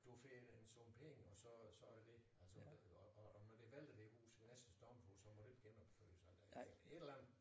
Du finder en sum penge og så det dét altså øh og og når det vælter det hus ved næste stormflod så må du ikke genopføre det så eller et eller andet